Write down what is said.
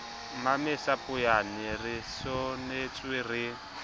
mmamesa poeyana re senotswe re